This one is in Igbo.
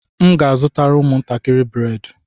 M ga-azụtara ụmụntakịrị bredị